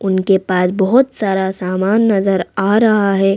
उनके पास बहुत सारा सामान नजर आ रहा है।